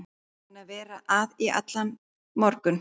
Búin að vera að í allan morgun.